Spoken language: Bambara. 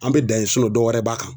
An bɛ dan ye dɔwɛrɛ b'a kan.